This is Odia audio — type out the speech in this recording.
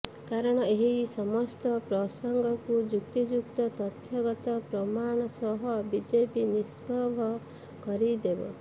କାରଣ ଏହି ସମସ୍ତ ପ୍ରସଙ୍ଗକୁ ଯୁକ୍ତିଯୁକ୍ତ ତଥ୍ୟଗତ ପ୍ରମାଣ ସହ ବିଜେପି ନିଷ୍ପଭ୍ର କରିଦେବ